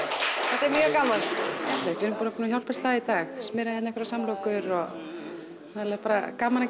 þetta er mjög gaman við erum bara búnar að hjálpast að hérna í dag smyrja hér einhverjar samlokur og alveg bara gaman að